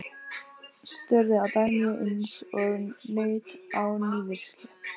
Störðu á Dagnýju eins og naut á nývirki.